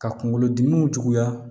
Ka kunkolo dimiw juguya